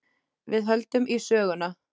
Við höldum í söguna.